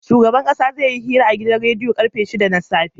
Shugaban ƙasa zai yi hira a gidan rediyo karfe shida na safe